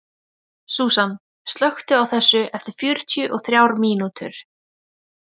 Súsan, slökktu á þessu eftir fjörutíu og þrjár mínútur.